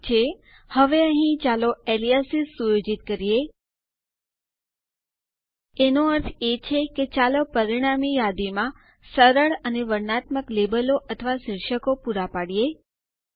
ઠીક છે હવે અહીં ચાલો એલયાસીઝ ઉપનામો સુયોજિત કરીએ એનો અર્થ છે કે ચાલો પરિણામી યાદીમાં સરળ અને વર્ણનાત્મક લેબલો અથવા શીર્ષકો પુરા પાડીએ